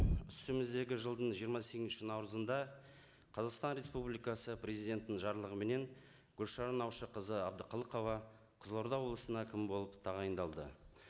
үстіміздегі жылдың жиырма сегізінші наурызында қазақстан республикасы президентінің жарлығыменен гүлшара наушақызы әбдіқалықова қызылорда облысына әкім болып тағайындалды